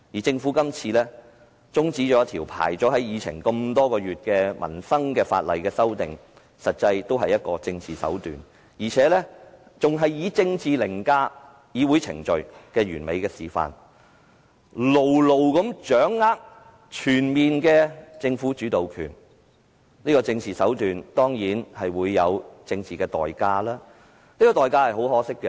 政府今次中止一項在議程上輪候多月有關民生的法案，實際也是玩弄政治手段，並且是一次以政治凌駕議會程序的完美示範，牢牢掌握全面的政府主導權，這種政治手段當然有政治代價，而這代價是很可惜的。